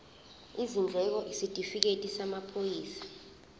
izindleko isitifikedi samaphoyisa